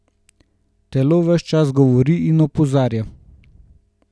Telo ves čas govori in opozarja.